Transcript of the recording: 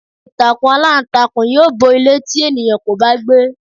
Ìtàkùn aláǹtakùn yóò bo ilé tí ènìyàn kò bá gbé.